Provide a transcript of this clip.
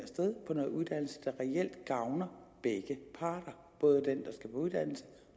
dem af uddannelse der reelt gavner begge parter både den der skal uddannes